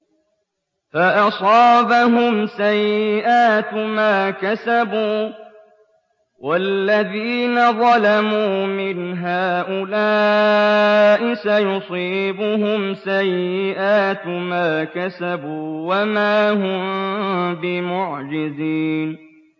فَأَصَابَهُمْ سَيِّئَاتُ مَا كَسَبُوا ۚ وَالَّذِينَ ظَلَمُوا مِنْ هَٰؤُلَاءِ سَيُصِيبُهُمْ سَيِّئَاتُ مَا كَسَبُوا وَمَا هُم بِمُعْجِزِينَ